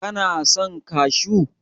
Kana son kashu?